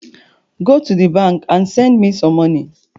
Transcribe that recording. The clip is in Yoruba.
Go to the bank and send me some money